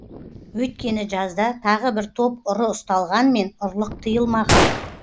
өйткені жазда тағы бір топ ұры ұсталғанмен ұрлық тыйылмаған